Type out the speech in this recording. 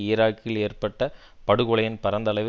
ஈராக்கில் ஏற்பட்ட படுகொலையின் பரந்தளவை